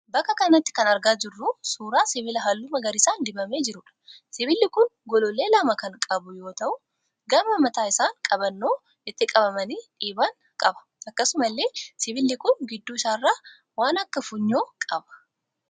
Bakka kanatti kan argaa jirru suuraa sibiila halluu magariisaan dibamee jiruudha. Sibiilli kun gollollee lama kan qabu yoo ta'u gama mataa isaan qabannoo itti qabamanii dhiiban qaba. Akkasumallee sibiilli kun gidduu isaarraa waan akka funyoo qaba.